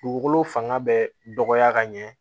Dugukolo fanga bɛ dɔgɔya ka ɲɛ